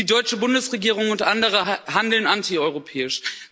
Die deutsche Bundesregierung und andere handeln antieuropäisch.